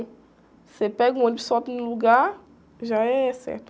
Você pega o ônibus só tem o lugar, já é certo.